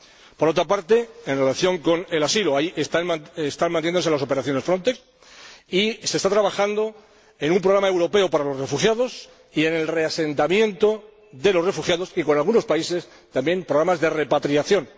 Por otra parte, en relación con el asilo, están manteniéndose las operaciones Frontex y se está trabajando en un programa europeo para los refugiados y en el reasentamiento de los refugiados y, con algunos países, también en programas de repatriación.